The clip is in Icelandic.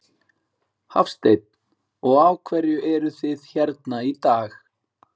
Hafsteinn: Og af hverju eruð þið hérna í dag?